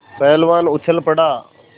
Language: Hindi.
पहलवान उछल पड़ा